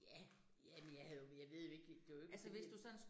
Ja, jamen jeg havde jo, jeg ved jo ikke, det var jo ikke helt